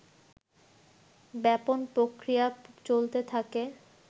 ব্যাপন প্রক্রিয়া চলতে থাকে